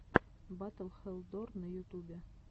батл хэлл дор на ютубе